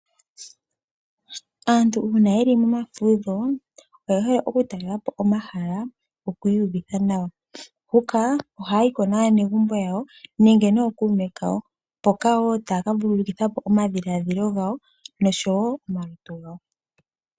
Aantu uuna ye li momafudho oye hole okutalelapo omahala gokwiiyuvitha nawa. Ohaa yi naanegumbo yawo nenge nookume kawo yaka vululukithepo omadhilaadhilo gawo nosho woo omalutu gawo.